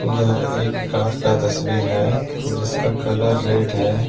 यह एक कार का तस्वीर है जिसका कलर रेड है ।